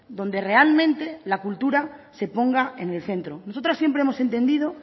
donde realmente la cultura se ponga en el centro nosotras siempre hemos entendido